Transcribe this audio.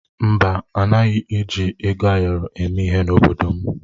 Mba, anaghị eji ego ayọrọ eme ihe n'obodo m.